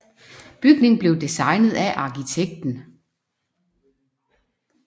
Bygningen blev designet af arkitekten I